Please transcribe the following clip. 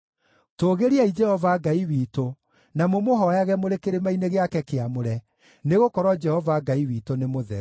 Tũũgĩriai Jehova Ngai witũ, na mũmũhooyage mũrĩ kĩrĩma-inĩ gĩake kĩamũre, nĩgũkorwo Jehova Ngai witũ nĩ mũtheru.